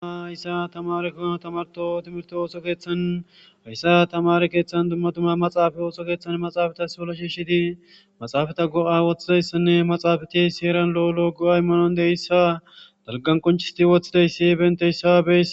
Hayssa tamareko tamarto timirto ooso keeththanhayssa tamare keeththan dummatuma maxaafa ooso keeththan maxaafatas wola shiishshidi maxaafata go7a woththizayssanne maxaafati seeran lo7olo go7 aymanon deyssa dalqan qonchisti woththidaysi benteyssabe